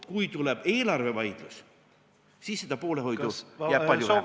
Kui tuleb eelarvevaidlus, siis seda poolehoidu jääb palju vähemaks.